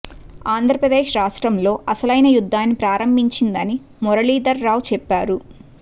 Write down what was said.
ఆంధ్రప్రదేశ్ రాష్ట్రంలో అసలైన యుద్దాన్ని ప్రారంభించిందని మురళీధర్ రావు చెప్పారు